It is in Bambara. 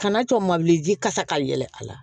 Kana to mabilen kasa ka yɛlɛ a la